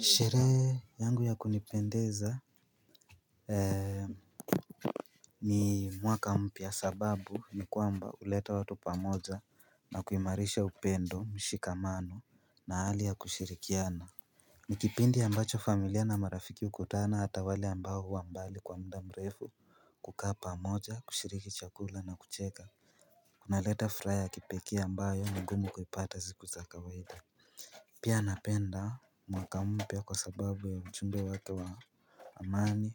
Sherehe yangu ya kunipendeza ni mwaka mpya kwa sababu ni kwamba huleta watu pamoja na kuimarisha upendo mshikamano na hali ya kushirikiana ni kipindi ambacho familia na marafiki hukutana hata wale ambao huwa mbali kwa muda mrefu kukaa pamoja kushiriki chakula na kucheka. Kunaleta furaha ya kipekee ambayo ni ngumu kuipata siku za kawaida. Pia napenda mwaka mpya kwa sababu ya mchumbe wako wa Amani